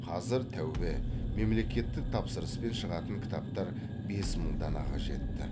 қазір тәубе мемлекеттік тапсырыспен шығатын кітаптар бес мың данаға жетті